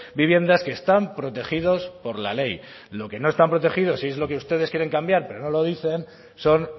viviendas que están protegidos por la ley los que no están protegidos si es lo que ustedes quieren cambiar pero no lo dicen son